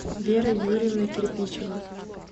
вера юрьевна кирпичева